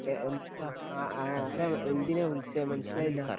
ഏ എന്താ ആ ആരാ എന്തിനാ വിളിച്ചേ മനസ്സിലായില്ല